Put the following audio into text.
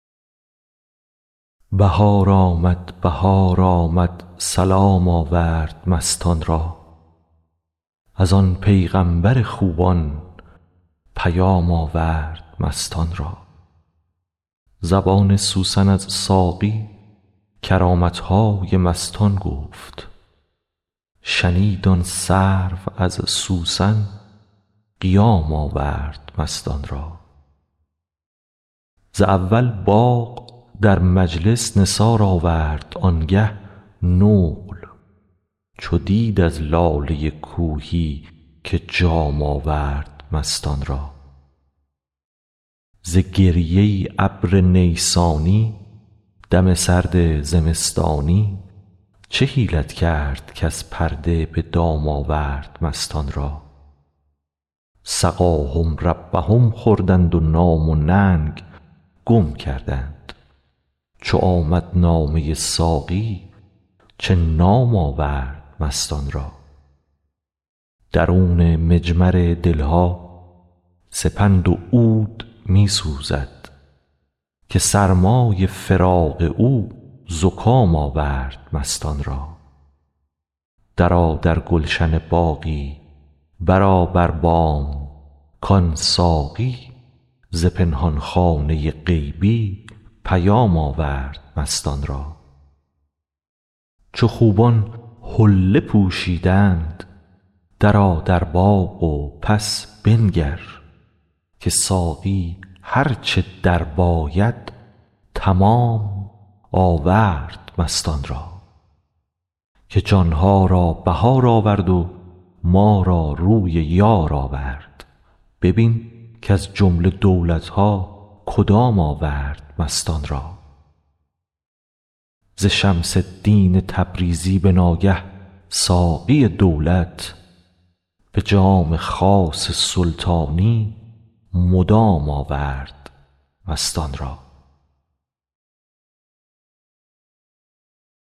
بهار آمد بهار آمد سلام آورد مستان را از آن پیغامبر خوبان پیام آورد مستان را زبان سوسن از ساقی کرامت های مستان گفت شنید آن سرو از سوسن قیام آورد مستان را ز اول باغ در مجلس نثار آورد آنگه نقل چو دید از لاله کوهی که جام آورد مستان را ز گریه ابر نیسانی دم سرد زمستانی چه حیلت کرد کز پرده به دام آورد مستان را سقاهم ربهم خوردند و نام و ننگ گم کردند چو آمد نامه ساقی چه نام آورد مستان را درون مجمر دل ها سپند و عود می سوزد که سرمای فراق او زکام آورد مستان را درآ در گلشن باقی برآ بر بام کان ساقی ز پنهان خانه غیبی پیام آورد مستان را چو خوبان حله پوشیدند درآ در باغ و پس بنگر که ساقی هر چه درباید تمام آورد مستان را که جان ها را بهار آورد و ما را روی یار آورد ببین کز جمله دولت ها کدام آورد مستان را ز شمس الدین تبریزی به ناگه ساقی دولت به جام خاص سلطانی مدام آورد مستان را